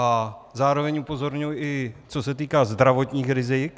A zároveň upozorňuji, i co se týká zdravotních rizik.